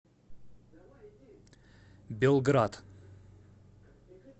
белград